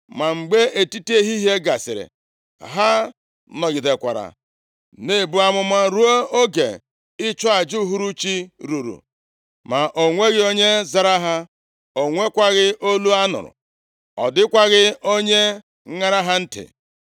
Ma mgbe etiti ehihie gasịrị, ha nọgidekwara na-ebu amụma ruo mgbe oge ịchụ aja uhuruchi ruru, ma o nweghị onye zara ha, o nwekwaghị olu a nụrụ. Ọ dịkwaghị onye ṅara ha ntị.